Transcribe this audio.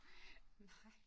Nej